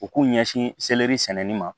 U k'u ɲɛsin seleri sɛnɛni ma